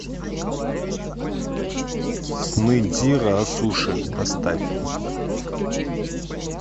сны дзиро о суши поставь